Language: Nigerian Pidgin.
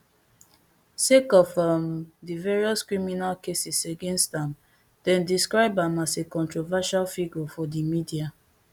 sake of um di various criminal cases against am dem describe am as a controversial figure for di media